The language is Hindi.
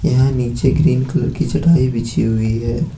यहां नीचे ग्रीन कलर की चटाई बिछी हुई है।